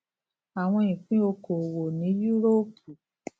àwọn ipin okowo ní yúróòpù